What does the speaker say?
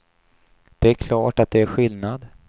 Det är klart att det är skillnad.